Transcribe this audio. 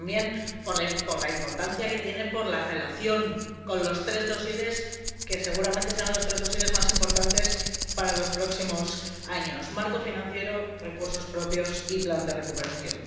pero, también, de la importancia que tiene por su relación con los tres dosieres que seguramente serán los tres dosieres más importantes para los próximos años marco financiero, recursos propios y plan de recuperación.